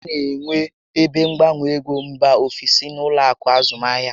A na enwe ebe mgbanwe égo mbà ofesi n'ụlọ akụ azụmahịa